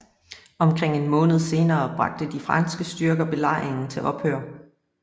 Omkring en måned senere bragte de franske styrker belejringen til ophør